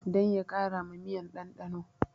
Dan ya kara ma miyan ɗanɗano